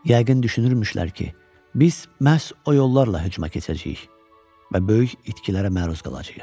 Yəqin düşünürmüşlər ki, biz məhz o yollarla hücuma keçəcəyik və böyük itkilərə məruz qalacağıq.